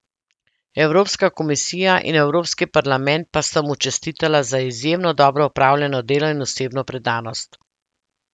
Evropska komisija in Evropski parlament pa sta mu čestitala za izjemno dobro opravljeno delo in osebno predanost.